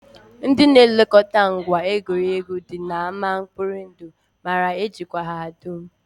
Ndị na-elekọta ngwa egwuregwu dị n'ámá mkpori ndụ maara ejikwa ha dum